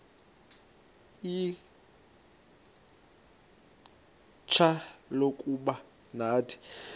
ixfsha lokuba nathi